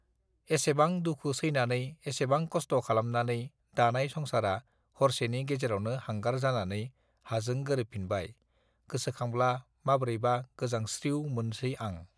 एसेबां दुखु सैनानै एसेबां कष्ट खालामनानै दानाय संसारा हरसेनि गेजेरावनो हांगार जानानै हाजों गोरोबफिनबाय गोसो खांब्ला माब्रैबा गोजावस्त्रिव मोनसै आं